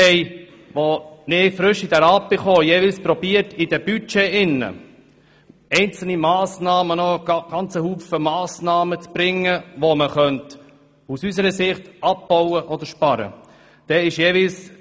Als ich neu in diesem Rat dabei war, versuchten wir jeweils in den Budgets viele Massnahmen aufzuzählen, die man aus unserer Sicht abbauen oder einsparen könnte.